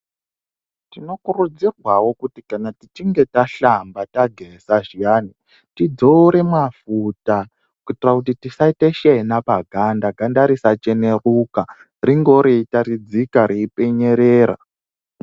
Tinokurudzirwawo kuti kana tichinge tahlamba-tageza zviyani, tidzore mwafuta kuitira kuti tisaite shena paganda, ganda risacheneruka ringewo reitaridzika reipenyerera.